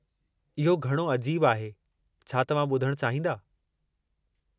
इहो घणो अजीबु आहे, छा तव्हां ॿुधणु चाहींदा?